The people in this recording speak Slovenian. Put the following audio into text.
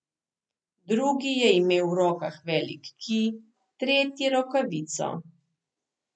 Drugi je imel v rokah velik kij, tretji rokavico.